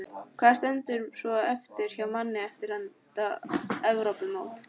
Hvað stendur svo eftir hjá manni eftir þetta Evrópumót?